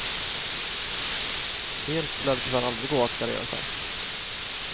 Helt lär det tyvärr aldrig gå att gardera sig.